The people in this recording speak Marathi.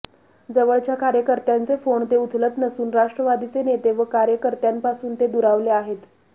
जवळच्या कार्यकर्त्यांचे फोन ते उचलत नसून राष्ट्रवादीचे नेते व कार्यकर्त्यांपासून ते दुरावले आहेत